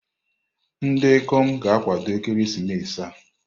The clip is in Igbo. Ndị ikom ga-akwado ekeresimesi a.